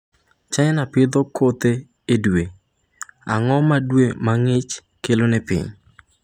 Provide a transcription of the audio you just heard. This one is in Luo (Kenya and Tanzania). China pidho kothe e dwe Ang’o ma dwe ma ng’ich kelo ne piny?